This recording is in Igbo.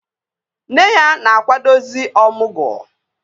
Nne ya na-akwadozi ọmụgwọ